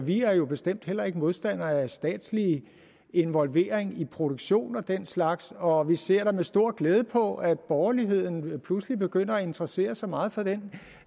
vi er jo bestemt heller ikke modstandere af statslig involvering i produktion og den slags og vi ser med stor glæde på at borgerligheden pludselig begynder at interessere sig meget for den